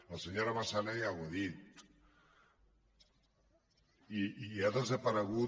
la senyora massana ja ho ha dit i ha desaparegut